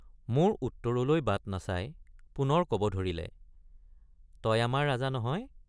মোৰ উত্তৰলৈ বাট নাচাই পুনৰ কব ধৰিলে তই আমাৰ ৰাজা নহয়।